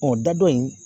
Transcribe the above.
Ɔ da dɔ in